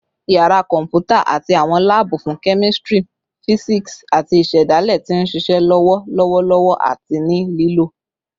Yara kọmputa ati awọn laabu fun kemistri, fisiksi, ati isedale ti nṣiṣe lọwọ lọwọlọwọ ati ni lilo